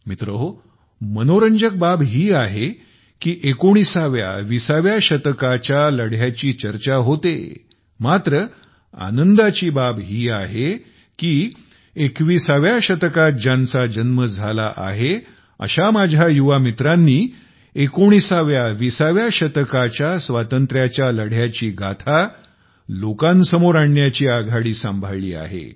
मित्रहो मनोरंजक बाब ही आहे की 19 व्या 20 व्या शतकाच्या लढ्याची चर्चा होते मात्र 21 व्या शतकात ज्यांचा जन्म झाला आहे अशा माझ्या युवा मित्रांनी 19 व्या 20 व्या शतकाच्या स्वातंत्र्याच्या लढ्याची गाथा लोकांसमोर आणण्याची आघाडी सांभाळली आहे